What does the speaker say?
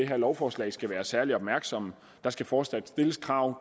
her lovforslag skal være særlig opmærksomme der skal fortsat stilles krav